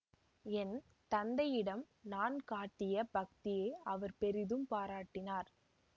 என் தந்தையிடம் நான் காட்டிய பக்தியை அவர் பெரிதும் பாராட்டினார்